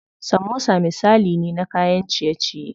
Samosa misali ne na kayan ciye ciye.